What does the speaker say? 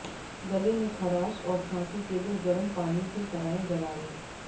गले में खराश और खांसी के लिए गर्म पानी के कराएं गरारे